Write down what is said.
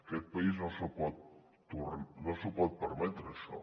aquest país no s’ho pot permetre això